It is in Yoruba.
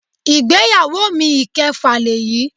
Ìgbéyàwó mi ìkẹfà lèyí.